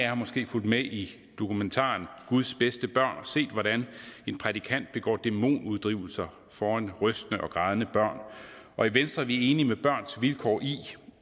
har måske fulgt med i dokumentaren guds bedste børn og set hvordan en prædikant begår dæmonuddrivelser foran rystende og grædende børn og i venstre er vi enig med børns vilkår i